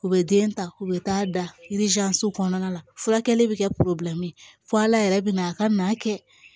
U bɛ den ta u bɛ taa da kɔnɔna la furakɛli bɛ kɛ fo ala yɛrɛ bɛ na a ka na kɛ